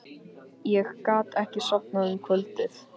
Ég gat ekki sofnað um kvöldið.